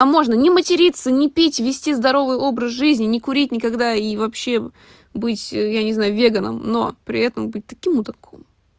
а можно не материться не пить вести здоровый образ жизни не курить никогда и вообще быть я не знаю веганам но при этом быть таким мудаком